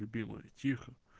любимая тихо